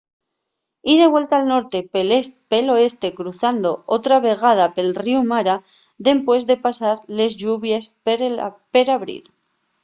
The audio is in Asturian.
y de vuelta al norte pel oeste cruzando otra vegada pel ríu mara dempués de pasar les lluvies per abril